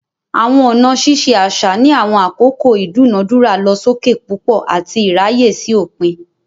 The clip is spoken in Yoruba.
Awọn ọna ṣiṣe aṣa ni awọn akoko idunadura losokepupo ati iraye si opin.